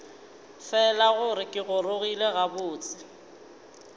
fela gore ke gorogile gabotse